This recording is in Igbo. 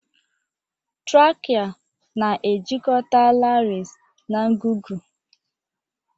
Trachea na-ejikọta larynx na ngụgụ